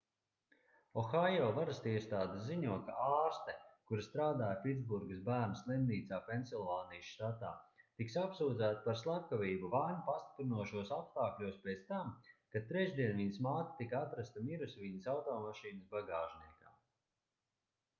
ohaio varasiestādes ziņo ka ārste kura strādāja pitsburgas bērnu slimnīcā pensilvānijas štatā tiks apsūdzēta par slepkavību vainu pastiprinošos apstākļos pēc tam kad trešdien viņas māte tika atrasta mirusi viņas automašīnas bagāžniekā